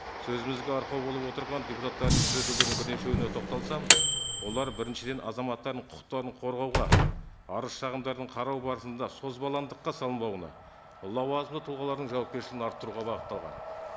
сөзімізге арқау болып отырған депутаттардың түзетулердің бірнешеуіне тоқталсам олар біріншіден азаматтардың құқықтарын қорғауға арыз шағымдардың қарау барысында созбалаңдыққа салынбауына лауазымды тұлғалардың жауапкершілігін арттыруға бағытталған